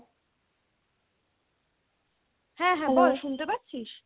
হ্যা হ্যা বল শুনতে পাচ্ছিস ?